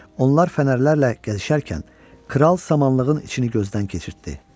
Onlar fənərlərlə gəzişərkən kral samanlığın içini gözdən keçirtdi.